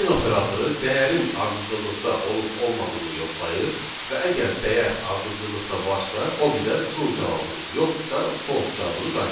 İn operatoru dəyərin ardıcıllıqda olub olmadığını yoxlayır və əgər dəyər ardıcıllıqda varsa, o bizə true cavabını, yoxdursa false cavabını qaytarır.